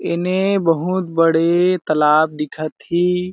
एने बहुत बड़े तालाब दिखत ही।